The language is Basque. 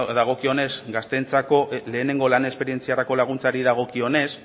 dagokionez gazteentzako lehenengo lan esperientziarako laguntzari dagokionez